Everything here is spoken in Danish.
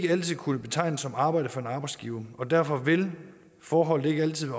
altid kunne betegnes som arbejde for en arbejdsgiver og derfor vil forholdene ikke altid